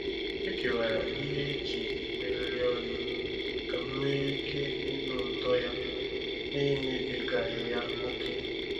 E kewara ihe eji emegharị ọnụ ka m nwee ike ịnụ ụtọ ya n'emebigaghị ya ókè.